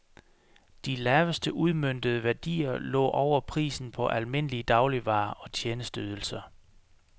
De laveste udmøntede værdier lå over prisen på almindelige dagligvarer og tjenesteydelser.